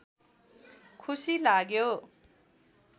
खुसी लाग्यो